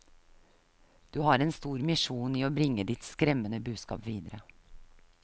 Du har en stor misjon i å bringe ditt skremmende budskap videre.